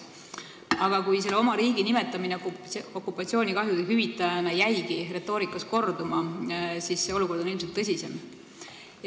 Aga kuna oma riigi nimetamine okupatsioonikahjude hüvitajana jäigi retoorikas korduma, siis on olukord ilmselt tõsisem.